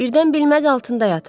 Birdən bilməz altında yatar.